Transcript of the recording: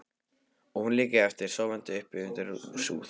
Og hún liggi eftir, sofandi uppi undir súð.